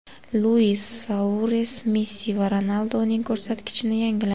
Luis Suares Messi va Ronaldoning ko‘rsatkichini yangiladi.